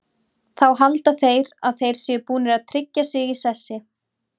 Þá halda þeir að þeir séu búnir að tryggja sig í sessi.